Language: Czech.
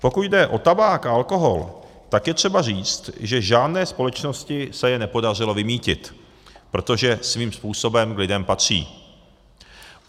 Pokud jde o tabák a alkohol, tak je třeba říct, že žádné společnosti se je nepodařilo vymýtit, protože svým způsobem k lidem patří.